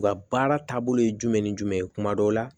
U ka baara taabolo ye jumɛn ni jumɛn ye kuma dɔ la